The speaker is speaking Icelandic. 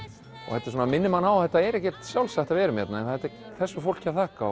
þetta minnir mann á að þetta er ekkert sjálfsagt að við erum hérna þetta er þessu fólki að þakka